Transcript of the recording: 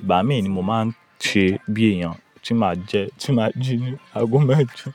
Ìgbà mí ni mo máa ń ṣe bí èèyàn tí máa jẹ, tí máa jí ní aago mẹ́jọ.